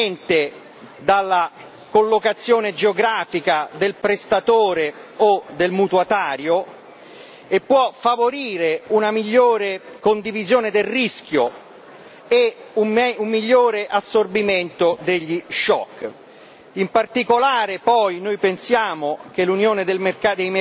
attraverso il mercato interno, indipendentemente dalla collocazione geografica del prestatore o del mutuatario e può favorire una migliore condivisione del rischio e un migliore assorbimento degli shock.